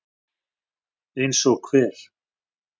Eins og hver?